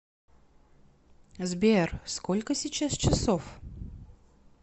сбер сколько сейчас часов